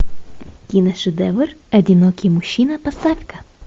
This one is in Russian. киношедевр одинокий мужчина поставь ка